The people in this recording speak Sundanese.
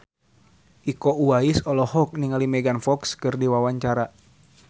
Iko Uwais olohok ningali Megan Fox keur diwawancara